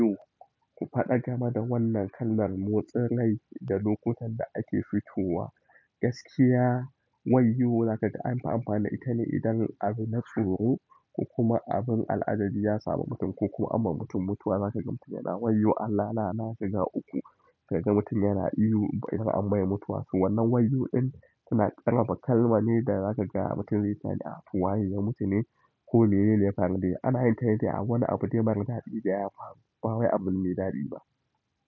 Ku faɗa kana da wannan kalmar motsin rai da lokutan da ake fitowa, gaskiya wayyo! Zaka ga an fi amfani da ita ne idan abin na tsiro ko kuma abin al'ajabi ya samu mutum ko kuma amma mutum mutuwa zaka gan mutum yana wayyo Allah na nashi ga uku sai kaga mutum yana ihu idan an mai mutuwa. To, wannan wayyo ɗin, tana ƙarfafa kalma ne da zaka ga mutum ya sanin waye ya mutu ne ko menene ya faru dai, ana yin tane a wani abu mara daɗi da ya faru, bawai abu mai daɗi ba.